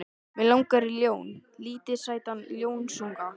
Mig langar í ljón, lítinn sætan ljónsunga.